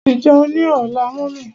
Mo ti jẹun ní ọlá mummy.